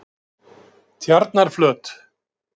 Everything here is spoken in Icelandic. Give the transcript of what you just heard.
Tjarnarflöt